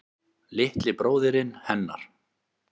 Litli bróðirinn hennar.